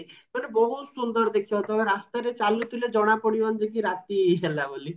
but ବହୁତ ସୁନ୍ଦର ଦେଖିବାକୁ ତମେ ରାସ୍ତାରେ ଚାଲୁଥିଲେ ଜଣା ପଡିବନି କି ରାତି ହେଲା ବୋଲି